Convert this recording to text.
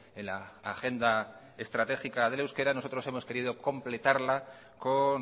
en la agenda estratégica del euskera nosotros hemos querido completarla con